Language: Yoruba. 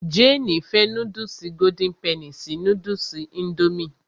Jéènì fẹ́ núdùsì golden penny sí núdùsì indomie